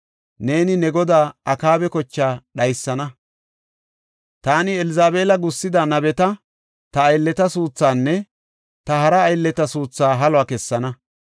Neeni ne godaa Akaaba kochaa dhaysana. Taani Elzabeela gussida nabeta, ta aylleta suuthaanne ta hara aylleta suuthaa haluwa kessana.